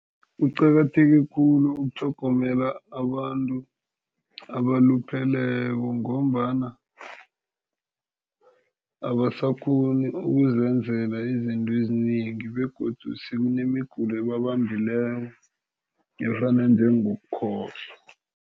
Kuqakatheke khulu ukutlhogomela abantu abalupheleko ngombana abasakghoni ukuzenzela izinto ezinengi begodu sekunemigulo ababambileko afana njengokukhohlwa.